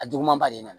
A juguman ba de na